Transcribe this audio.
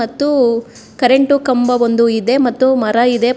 ಮತ್ತೂ ಕರೆಂಟು ಕಂಬ ಒಂದು ಇದೆ ಮತ್ತು ಮರ ಇದೆ --